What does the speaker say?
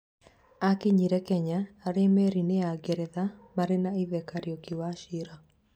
Akinyire Kenya arĩ merĩnĩ ya ngeretha marĩ na ithe Kariuki wachira